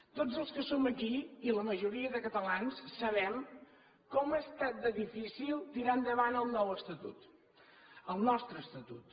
tots els que som aquí i la majoria de catalans sabem com ha estat de difícil tirar endavant el nou estatut el nostre estatut